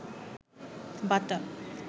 বাটা